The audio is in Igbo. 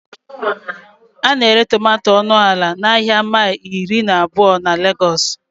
A na-ere tomato ọnụ ala n'ahịa mile iri na abụọ na Legos